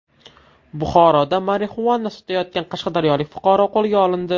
Buxoroda marixuana sotayotgan qashqadaryolik fuqaro qo‘lga olindi.